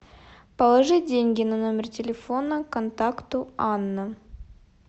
положи деньги на номер телефона контакту анна